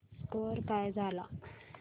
score काय झाला